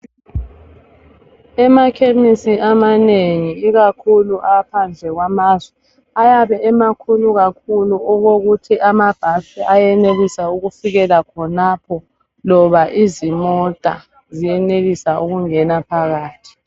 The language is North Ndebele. Emakhemisi amanengi ikakhulu aphandle kwamazwe ayabe emakhulu kakhulu okokuthi amabhasi ayenelisa ukufikela khonapho loba izimota ziyenelisa ukungena phakathi.